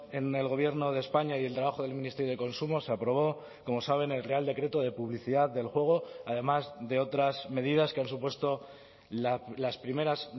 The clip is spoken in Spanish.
en el gobierno de españa y el trabajo del ministerio de consumo se aprobó como saben el real decreto de publicidad del juego además de otras medidas que han supuesto las primeras